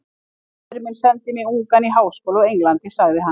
Faðir minn sendi mig ungan í háskóla á Englandi sagði hann.